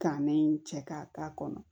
Ka nen cɛ k'a k'a kɔnɔ